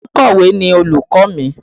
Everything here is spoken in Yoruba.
Ònkọ̀wé ni olùkọ́ mi